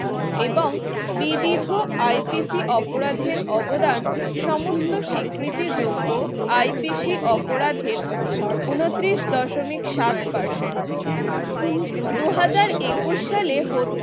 এবং বিবিধ IPC অপরাধের অবদান সমস্ত স্বীকৃতিযোগ্য IPC অপরাধের উনত্রিশ দশমিক সাত Percent দুহাজার একুশ সালে